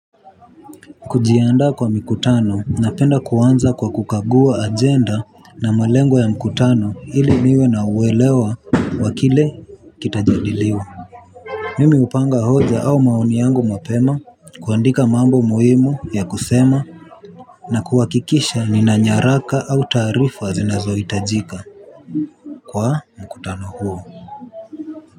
Kujianda kwa mkutano napenda kuanza kwa kukagua agenda na malengo ya mkutano hili niwe na uwelewa wakile kitajidiliwa. Mimi upanga hoja au maoni yangu mapema. Kuandika mambo mohimu ya kusema na kuwakikisha ni na nyaraka au tarifu wa zinazo itajika kwa mkutano huo.